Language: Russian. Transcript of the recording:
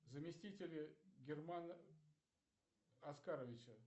заместители германа оскаровича